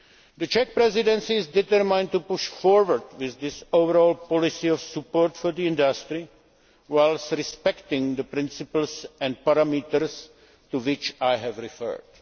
The Czech Presidency is determined to push forward with this overall policy of support for the industry, whilst respecting the principles and parameters to which I have referred.